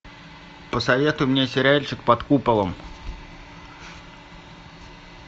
посоветуй мне сериальчик под куполом